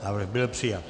Návrh byl přijat.